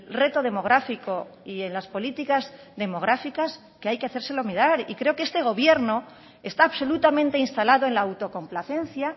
reto demográfico y en las políticas demográficas que hay que hacérselo mirar y creo que este gobierno está absolutamente instalado en la autocomplacencia